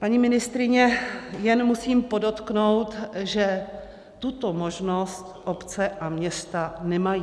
- Paní ministryně, jen musím podotknout, že tuto možnost obce a města nemají.